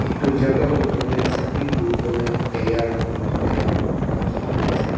etu jaka tu hoi le shadi kuri bole tayar kuri kene rakhi kene ase.